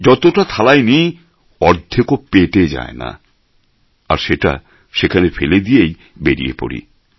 যতটা থালায় নিই অর্ধেকও পেটে যায় না আর সেটা সেখানে ফেলে দিয়েই বেরিয়ে পড়ি